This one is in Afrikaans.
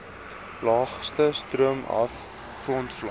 laagste stroomaf grondvlak